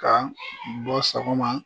Ka bɔ sɔgɔma.